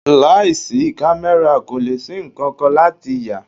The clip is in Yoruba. Láì sí camera kò lè ṣí nkankan láti yà.